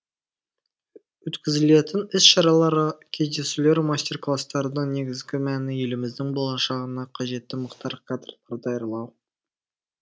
өткізілетін іс шаралар кездесулер мастер класстардың негізгі мәні еліміздің болашағына қажетті мықты кадрлар даярлау